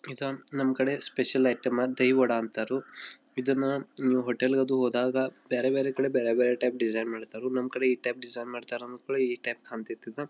ಇದು ನಮ್ಮ ಕಡೆ ಸ್ಪೆಷಲ್ ಐಟಂ ದಹಿ ವಡಾ ಅನಂತಾರು ಇದನ್ನ ಹೋಟೆಲ್ ಅದು ಹೋದಾಗ ಬೇರೆ ಬೇರೆ ಕಡೆ ಬೇರೆ ಬೇರೆ ಟೈಪ್ ಡಿಸೈನ್ ಮಾಡತರು. ನಮ್ಮ ಕಡೆ ಈ ಟೈಪ್ ಡಿಸೈನ್ ಮಾಡತರು ಈ ಟೈಪ್ ಕಾಣ್ ತಿದು.